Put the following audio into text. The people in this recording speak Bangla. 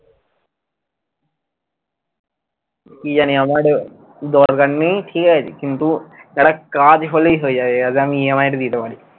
কি জানি আমার এ দরকার নেই ঠিকাছে কিন্তু একটা কাজ হলেই হয়ে যাবে যাতে আমি EMI টা দিতে পারি।